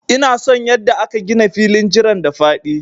Ina son yanda aka gina filin jiran da faɗi.